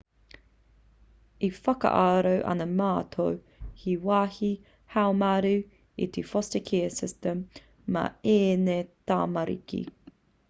e whakaaro ana mātou he wāhi haumaru te foster care system mā ēnei tamariki